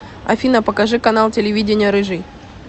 афина покажи канал телевидения рыжий